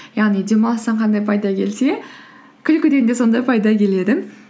яғни демалыстан қандай пайда келсе күлкіден де сондай пайда келеді